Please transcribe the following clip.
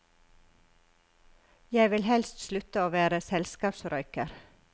Jeg vil helst slutte å være selskapsrøyker.